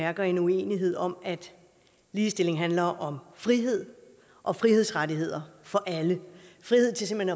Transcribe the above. mærker en uenighed om at ligestilling handler om frihed og frihedsrettigheder for alle frihed til simpelt